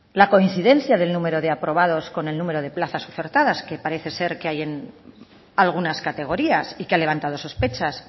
la coincidencia del número de aprobados con el número de plazas ofertadas que parece que hay en algunas categorías y que ha levantado sospechas